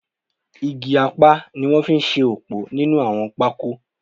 Igi apá ni wọ́n fi ṣe ọ̀pọ̀ nínú àwọn pákó